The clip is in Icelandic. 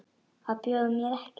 Að bjóða mér ekki.